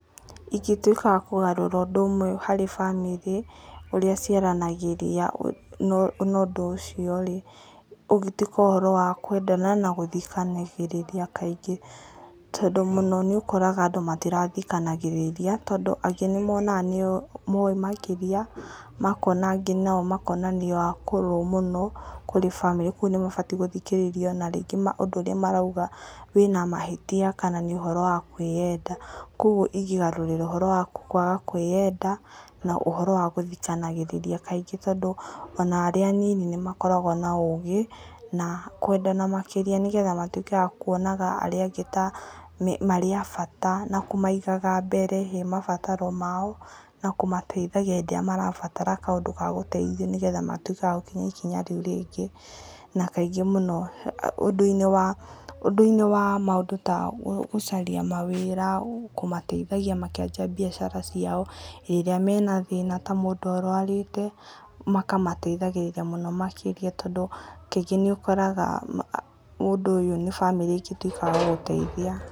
Ingĩtuĩka wa kũgarũra ũndũ ũmwe harĩ bamĩrĩ, ũrĩa ciaranagĩria, na ũndũ ũcio-rĩ, ũngĩtuĩka ũhoro wa kwendana na gũthikanĩrĩria kaingĩ, tondũ mũno nĩ ũokoraga andũ matirathikanagĩrĩria tondũ angĩ nĩmonaga nĩo moĩ makĩria makona nginya nĩo akũrũ mũno kũrĩ bamĩrĩ kogwo nĩmabatiĩ gũthikĩrĩrio na rĩngĩ ũndũ ũrĩa marauga wĩna mahĩtia kana nĩ ũhoro wa kwĩyenda koguo ingĩgarũrĩra ũhoro wa kwaga kwĩyenda na ũhoro wa gũthikanagĩrĩria kaingĩ tondũ ona arĩa a nini nĩmakoragwo na ũgĩ, na kwendana makĩria nĩ getha matuĩke akuonaga arĩa angĩ ta marĩ abata na kũmaiigaga mbere he mabataro mao na kũmateithagia hĩndĩ ĩrĩa marabatara kaũndũ ga gũteithio nĩgetha matuĩke agũkinya ikinya rĩu rĩngĩ na kaingĩ mũno ũndũ-inĩ wa maũndũ ta gũcaria mawĩra, kũmateithagia makĩambia biacara ciao, rĩrĩa mena thĩna ta mũndũ arwarĩte makamũteithagĩrĩria mũno makĩria tondũ kaingĩ nĩũkoraga ũndũ ũyũ nĩ bamĩrĩ ĩngĩtuĩka agũgũteithia.